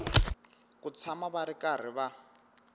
ku tshama va karhi va